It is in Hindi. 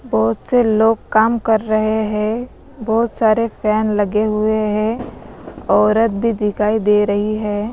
बहुत से लोग काम कर रहे हैं बहुत सारे फैन लगे हुए हैं औरत भी दिखाई दे रही है।